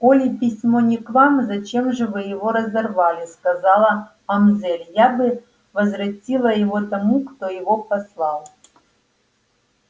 коли письмо не к вам зачем же вы его разорвали сказала мамзель я бы возвратила его тому кто его послал